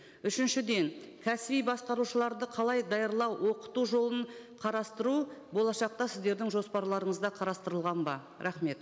үшіншіден кәсіби басқарушыларды қалай даярлау оқыту жолын қарастыру болашаққа сіздердің жоспарларыңызда қарастырылған ба рахмет